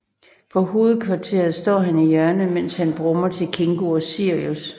På Hovedkvarteret står han i hjørnet mens han brummer til Kingo og Sirius